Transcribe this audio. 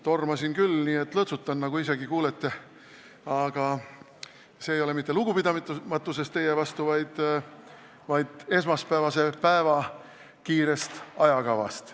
Tormasin küll, nii et lõõtsutan, nagu kuulete, aga see ei ole mitte lugupidamatusest teie vastu, vaid esmaspäevase päeva kiirest ajakavast.